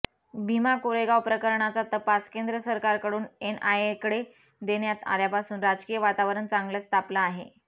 भीमा कोरेगाव प्रकरणाचा तपास केंद्र सरकारकडून एनआयएकडे देण्यात आल्यापासून राजकीय वातावरण चांगलच तापलं आहे